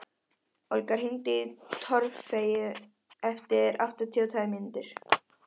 Olga, hringdu í Torfeyju eftir áttatíu og tvær mínútur.